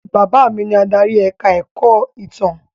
Bàbá mi ni adarí ẹ̀ka-ẹ̀kọ́ ìtàn.